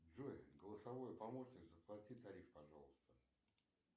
джой голосовой помощник заплати тариф пожалуйста